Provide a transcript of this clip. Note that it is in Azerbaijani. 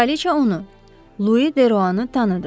Kraliçə onu, Lui De Roanı tanıdı.